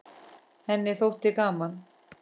Henni þótti gaman.